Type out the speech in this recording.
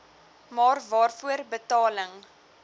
maar waarvoor betaling